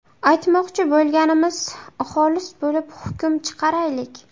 Aytmoqchi bo‘lganimiz – xolis bo‘lib, hukm chiqaraylik!